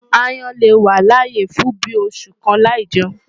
Aáyán lè wà láyé fún bíi oṣù kan láì jẹun.